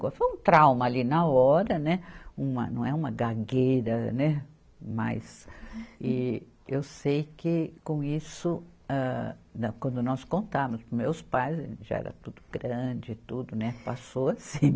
Foi um trauma ali na hora, né, uma, não é uma gagueira, né, mas e, eu sei que com isso, âh, não, quando nós contamos para os meus pais, já era tudo grande e tudo, né, passou assim.